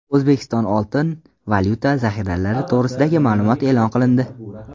O‘zbekiston oltin-valyuta zaxiralari to‘g‘risidagi ma’lumot e’lon qilindi.